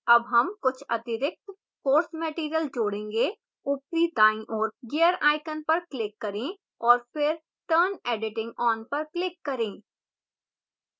add हम कुछ अतिरिक्त course material जोड़ेंगे